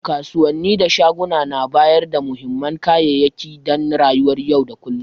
Kasuwanni da shaguna na bayarda muhimman kayayyaki dan rayuwar yau da kullum.